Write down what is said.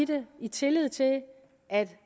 det i tillid til at